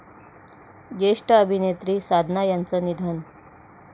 ज्येष्ठ अभिनेत्री साधना यांचं निधन